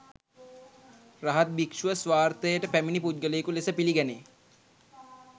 රහත් භික්‍ෂුව ස්වාර්ථයට පැමිණි පුද්ගලයකු ලෙස පිළිගැනේ.